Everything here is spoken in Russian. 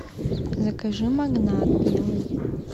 закажи магнат белый